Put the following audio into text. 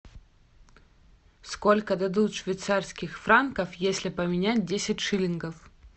сколько дадут швейцарских франков если поменять десять шиллингов